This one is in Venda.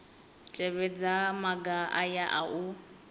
tevhedza maga aya a u